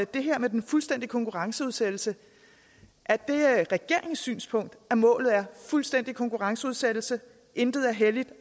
det her med den fuldstændige konkurrenceudsættelse er det regeringens synspunkt at målet er fuldstændig konkurrenceudsættelse at intet er helligt